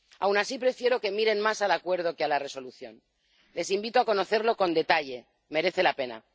Aun así, prefiero que miren más al Acuerdo que a la Resolución les invito a conocerlo con detalle, merece la pena.